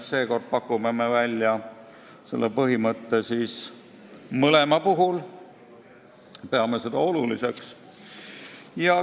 Seekord pakume välja selle põhimõtte mõlema puhul, sest peame seda oluliseks.